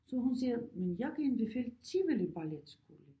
Så hun siger men jeg kan anbefale Tivoli Balletskole